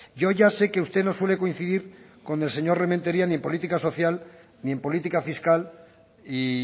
yo ya sé que usted no suele coincidir con el señor rementeria ni en política social ni en política fiscal y